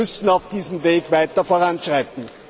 Wir müssen auf diesem Wege weiter voranschreiten.